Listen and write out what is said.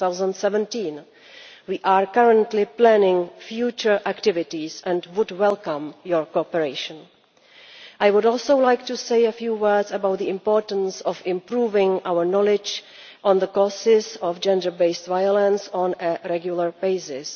2017. We are currently planning future activities and would welcome your cooperation. I would also like to say a few words about the importance of improving our knowledge about the causes of gender based violence on a regular basis.